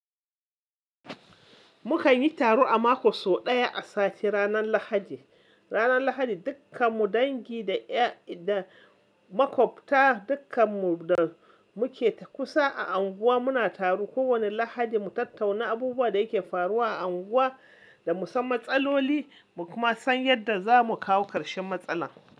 Mukan yi taro a mako so ɗaya, a sati ranar Lahadi. Ranar Lahadi dukkan mu dangi da makwabta dukkan mu da muke kusa a unguwa muna taro. Ko wani Lahadi mu tattauna abubuwan da ke faruwa a unguwa, da mu san matsaloli mu kuma san yadda za mu kawo karshen matsalan.